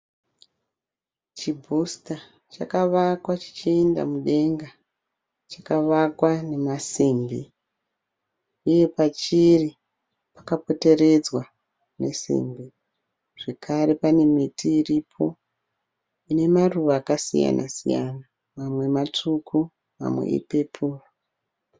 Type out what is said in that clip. Chibhusita chakavakwa chichienda mudenga. Chakavakwa nemasimbi uye pachiri pakapoteredzwa nesimbi zvakare pane miti iripo ine maruva akasiyana siyana. Mamwe matsvuku mamwe ipepuro.